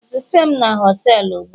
zute m na họtelu ugbua.